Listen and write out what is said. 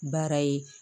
Baara ye